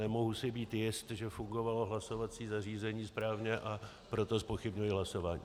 Nemohu si být jist, že fungovalo hlasovací zařízení správně, a proto zpochybňuji hlasování.